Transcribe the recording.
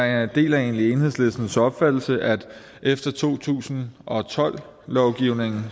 jeg deler egentlig enhedslistens opfattelse at der efter to tusind og tolv lovgivningen